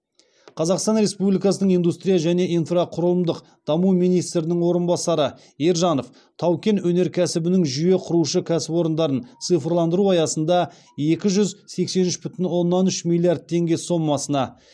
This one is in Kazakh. қазақстан республикасының индустрия және инфрақұрылымдық даму министрінің орынбасары ержанов тау кен өнеркәсібінің жүйе құрушы кәсіпорындарын цифрландыру аясында екі жүз сексен үш бүтін оннан үш миллиард теңге сомасына